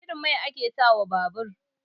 Wane irin mai ake sa wa babar?